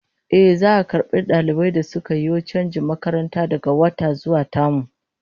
Ehh, za'a karbi dalibai da suka yo chanjin makaranta daga wata zuwa tamu